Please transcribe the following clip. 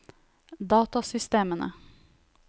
datasystemene